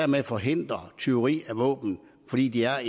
man forhindrer tyveri af våben fordi de er